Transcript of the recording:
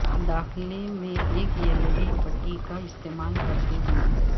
داخلہ میں ایک یلئڈی پٹی کا استعمال کرتے ہوئے